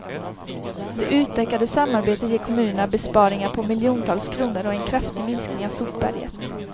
Det utökade samarbetet ger kommunerna besparingar på miljontals kronor och en kraftig minskning av sopberget.